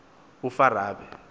ufarabe